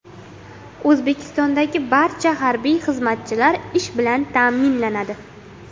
O‘zbekistondagi barcha harbiy xizmatchilar ish bilan ta’minlanadi.